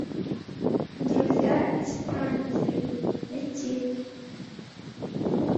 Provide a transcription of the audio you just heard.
друзья из франции найти